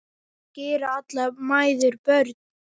Kannski eru allar mæður börn.